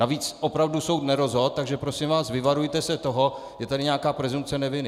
Navíc opravdu soud nerozhodl, tak prosím vás, vyvarujte se toho, je tady nějaká presumpce neviny.